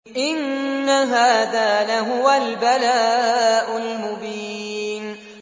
إِنَّ هَٰذَا لَهُوَ الْبَلَاءُ الْمُبِينُ